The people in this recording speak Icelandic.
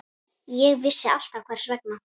Ég vissi alltaf hvers vegna.